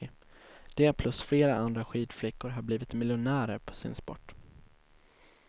De plus flera andra skidflickor har blivit miljonärer på sin sport.